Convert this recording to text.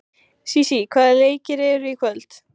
Sísí, hvaða leikir eru í kvöld?